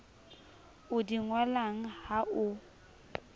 o di ngolang ha o